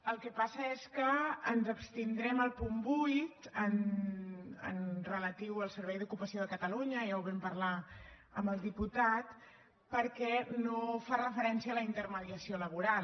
el que passa és que ens abstindrem al punt vuit relatiu al servei d’ocupació de catalunya ja ho vam parlar amb el diputat perquè no fa referència a la intermediació laboral